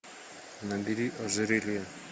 набери ожерелье